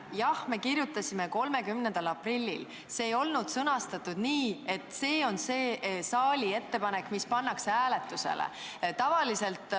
Jah, me kirjutasime selle 30. aprillil ja see ei olnud sõnastatud nii, et see on see saali ettepanek, mis pannakse hääletusele.